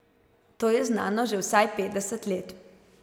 To je znano že vsaj petdeset let!